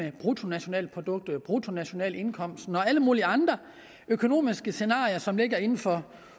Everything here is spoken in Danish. af bruttonationalproduktet og bruttonationalindkomsten og alle mulige andre økonomiske scenarier som ligger inden for